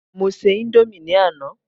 mo se Indomie ni Ana